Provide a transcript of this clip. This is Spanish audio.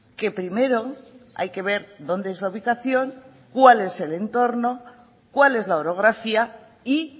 que primero hay que ver dónde es la ubicación cuál es el entorno cuál es la orografía y